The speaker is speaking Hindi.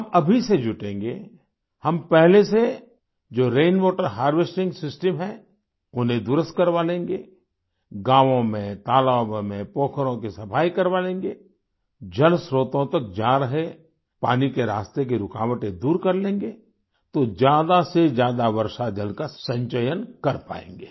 हम अभी से जुटेंगे हम पहले से जो रैन वाटर हार्वेस्टिंग सिस्टम है उन्हें दुरुस्त करवा लेंगे गांवो में तालाबों में पोखरों की सफाई करवा लेंगे जलस्त्रोतों तक जा रहे पानी के रास्ते की रुकावटें दूर कर लेंगे तो ज्यादा से ज्यादा वर्षा जल का संचयन कर पायेंगे